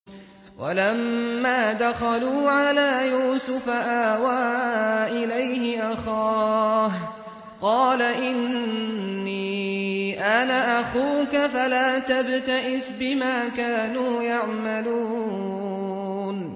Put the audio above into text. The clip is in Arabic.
وَلَمَّا دَخَلُوا عَلَىٰ يُوسُفَ آوَىٰ إِلَيْهِ أَخَاهُ ۖ قَالَ إِنِّي أَنَا أَخُوكَ فَلَا تَبْتَئِسْ بِمَا كَانُوا يَعْمَلُونَ